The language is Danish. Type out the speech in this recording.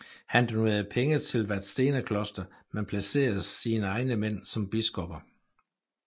Han donerede penge til Vadstena kloster men placerede sine egne mænd som biskopper